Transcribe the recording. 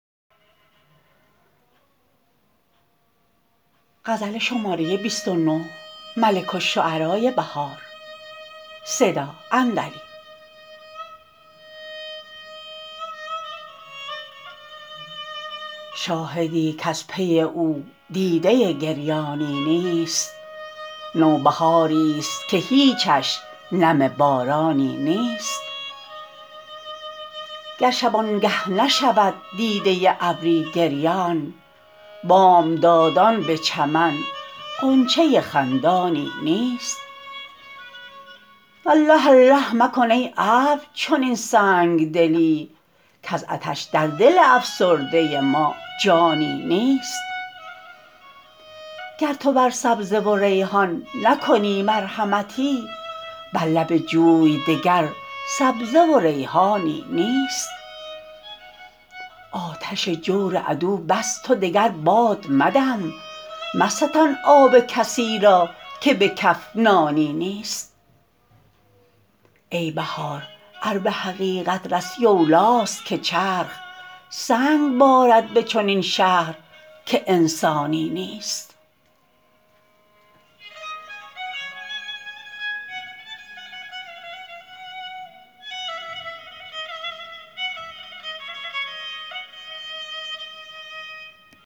شاهدی کز پی او دیده گریانی نیست نوبهاریست که هیچش نم بارانی نیست گر شبانگه نشود دیده ابری گریان بامدادان به چمن غنچه خندانی نیست الله الله مکن ای ابر چنین سنگدلی کز عطش در دل افسرده ما جانی نیست گرتوبر سبزه وربحان نکنی مرحمتی برلب جوی دگر سبزه وریحانی نیست آتش جور عدو بس تو دگر باد مدم مستان آب کسی را که به کف نانی نیست ای بهار ار به حقیقت رسی اولی است که چرخ سنگ بارد به چنین شهرکه انسانی نیست